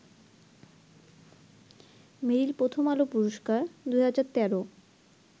মেরিল প্রথম আলো পুরস্কার ২০১৩